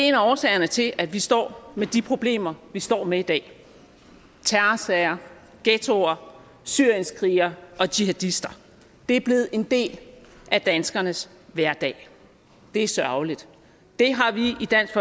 af årsagerne til at vi står med de problemer vi står med i dag terrorsager ghettoer syrienskrigere og jihadister det er blevet en del af danskernes hverdag det er sørgeligt det har vi i dansk